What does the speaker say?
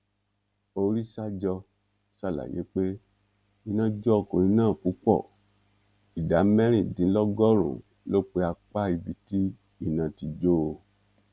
oríṣajọ sàlàyé pé iná jó ọkùnrin náà púpọ ìdá mẹrìndínlọgọrùnún ló pe apá ibi tí iná ti jó o